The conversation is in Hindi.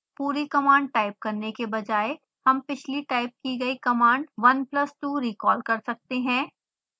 पूरी कमांड टाइप करने के बजाय हम पिछली टाइप की गई command 1 plus 2 रिकॉल कर सकते हैं